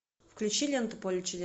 включи ленту поле чудес